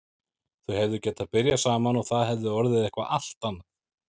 Þau hefðu getað byrjað saman og það hefði orðið eitthvað allt annað.